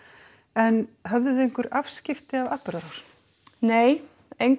en höfðuð þið einhver afskipti af atburðarásinni nei